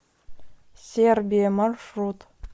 сербия маршрут